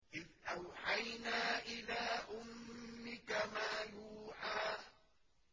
إِذْ أَوْحَيْنَا إِلَىٰ أُمِّكَ مَا يُوحَىٰ